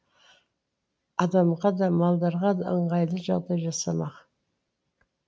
адамға да малдарға да ыңғайлы жағдай жасамақ